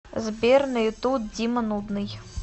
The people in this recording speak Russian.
сбер на ютуб дима нудный